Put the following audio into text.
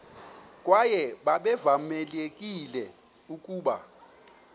kwaye babevamelekile ukuba